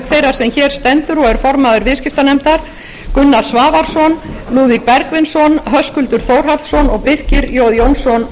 þeirrar sem hér stendur og er formaður viðskiptanefndar háttvirtir þingmenn gunnar svavarsson lúðvík bergvinsson höskuldur þórhallsson og birkir j jónsson